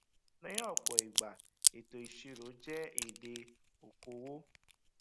ní òpò ìgbà ètò ìṣíró jẹ èdè okòwò